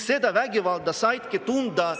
Seda vägivalda saidki tunda …